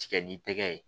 Tigɛ ni tɛgɛ ye